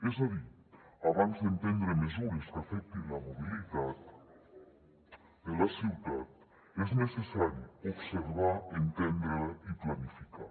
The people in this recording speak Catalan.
és a dir abans d’emprendre mesures que afectin la mobilitat de la ciutat és necessari observar entendre la i planificar